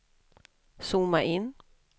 zooma in